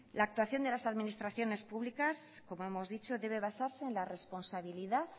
la actuación de las administraciones públicas como hemos dicho debe basarse en la responsabilidad